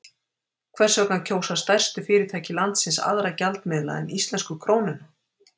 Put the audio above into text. Hvers vegna kjósa stærstu fyrirtæki landsins aðra gjaldmiðla en íslensku krónuna?